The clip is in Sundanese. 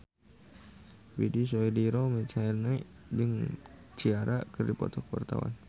Widy Soediro Nichlany jeung Ciara keur dipoto ku wartawan